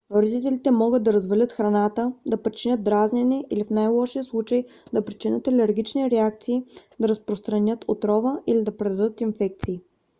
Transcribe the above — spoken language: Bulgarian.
вредителите могат да развалят храната да причинят дразнене или в най - лошия случай да причинят алергични реакции да разпространят отрова или да предадат инфекции